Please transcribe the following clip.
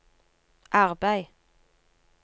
arbeid